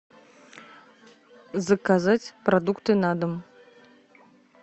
заказать продукты на дом